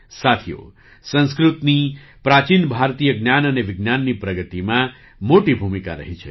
સાથીઓ સંસ્કૃતની પ્રાચીન ભારતીય જ્ઞાન અને વિજ્ઞાનની પ્રગતિમાં મોટી ભૂમિકા રહી છે